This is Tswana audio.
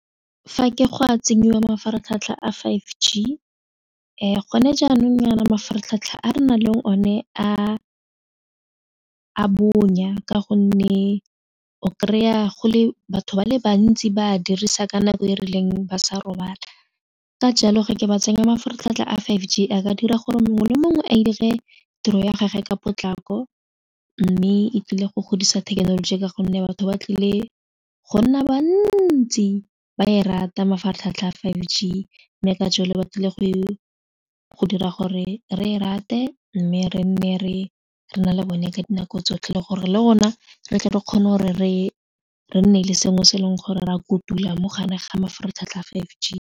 Fa ke go a tsenyiwa mafaratlhatlha a five G gone jaanong yana mafaratlhatlha a renang le o ne a bonya ka gonne o kry-a go le batho ba le bantsi ba a dirisa ka nako e rileng ba sa robala ka jalo ge ke ba tsenya mafaratlhatlha a five G a ka dira gore mongwe le mongwe a dire tiro ya gage ka potlako mme e tlile go godisa thekenoloji ka gonne batho ba tlile go nna bantsi ba e rata mafaratlhatlha a five G, mme ka jalo ba tlile go e go dira gore re e rate mme re nne re na le bone ka dinako tsotlhe le gore le rona re tle re kgone gore re nne le sengwe se e leng gore re a kutula mo gare ga mafaratlhatlha five G.